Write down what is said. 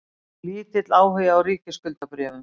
Lítill áhugi á ríkisskuldabréfum